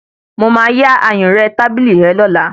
Mo máa yá ayùnré tábìlì rẹ lọ́la